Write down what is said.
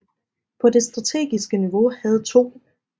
På det strategiske niveau havde 2